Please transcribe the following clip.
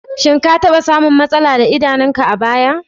Shin ka taɓa samun matsala da idanunka a baya?